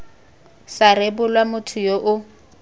sa rebolwa motho yo o